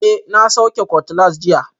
Eh, na sauke cutlass jiya